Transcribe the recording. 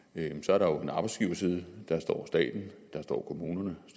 er der jo en arbejdsgiverside der står staten der står kommunerne